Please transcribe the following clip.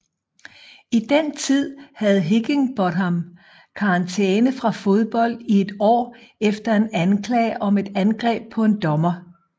I den tid havde Higginbotham karantæme fra fodbold i et år efter en anklage om et angreb på en dommer